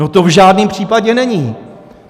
No to v žádném případě není.